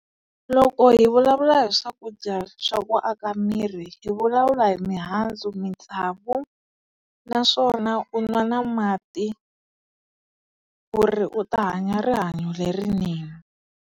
Loko hi vulavula hi swakudya swa ku aka miri hi vulavula hi mihandzu, matsavu naswona u nwa na mati ku ri u ta hanya rihanyo lerinene.